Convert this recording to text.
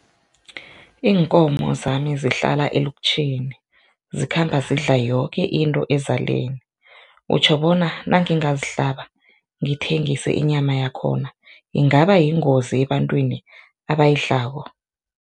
Iinkomo zami zihlala elutjheni zikhamba zidla yoke into ezaleni, utjho bona nangingazihlaba ngithengise inyama yakhona ingaba yingozi ebantwini abayidlako?